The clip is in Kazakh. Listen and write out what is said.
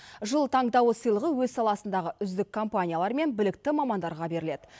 жыл таңдауы сыйлығы өз саласындағы үздік компаниялар мен білікті мамандарға беріледі